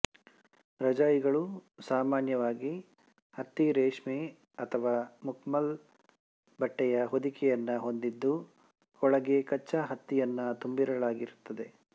ರಜಾಯಿಗಳು ಸಾಮಾನ್ಯವಾಗಿ ಹತ್ತಿ ರೇಷ್ಮೆ ಅಥವಾ ಮಖಮಲ್ ಬಟ್ಟೆಯ ಹೊದಿಕೆಯನ್ನು ಹೊಂದಿದ್ದು ಒಳಗೆ ಕಚ್ಚಾ ಹತ್ತಿಯನ್ನು ತುಂಬಿರಲಾಗಿರುತ್ತದೆ